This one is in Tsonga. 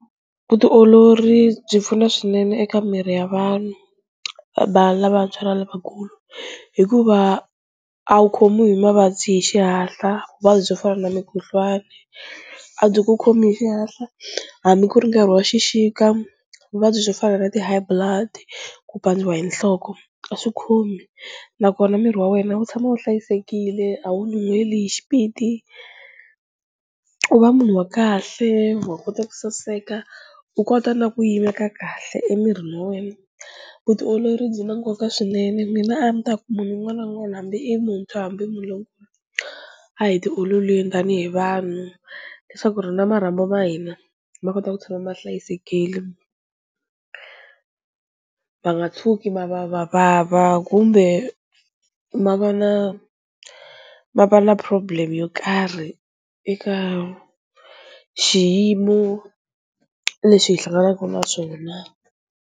Vutiolori byi pfuna swinene eka miri ya vanhu va lavantshwa na lavakulu hikuva a wu khomiwi hi mavabyi hi xihatla vuvabyi byo fana na mikhuhlwani a byi ku khomi hi xihatla, hambi ku ri nkarhi wa xixika vuvabyi swo fana na ti-high blood ku pandziwa hi nhloko a swi khomi nakona miri wa wena wu tshama wu hlayisekile a wu nyuheli hi xipidi, u va munhu wa kahle wa kota ku saseka u kota na ku yimeka kahle emirini wa wena, vutiolori byi na nkoka swinene mina a ni ta ku munhu un'wana na un'wana hambi i muntshwa hambi i munhu lonkulu a hi tiololeni tanihi vanhu leswaku ri na marhambu ma hina ma kota ku tshama ma hlayisekile, ma nga tshuki ma va ma vava kumbe ma va na ma va na problem yo karhi eka xiyimo lexi hi hlanganaku na swona.